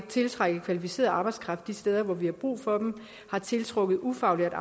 tiltrække kvalificeret arbejdskraft de steder hvor vi har brug for den har tiltrukket ufaglærte